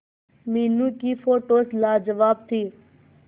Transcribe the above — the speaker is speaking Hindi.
मीनू की फोटोज लाजवाब थी